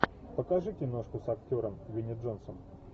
покажи киношку с актером винни джонсом